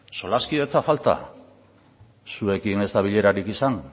solaskidetza falta zuekin ez da bilerarik izan